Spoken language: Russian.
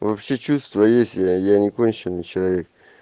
вообще чувства есть я я не конченый человек